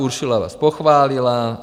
Ursula vás pochválila.